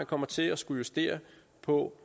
kommer til at skulle justere på